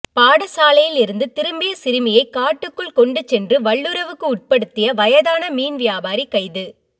பாடசாலையில் இருந்து திரும்பிய சிறுமியை காட்டுக்குள் கொண்டு சென்று வல்லுறவுக்கு உட்படுத்திய வயதான மீன் வியாபாரி கைது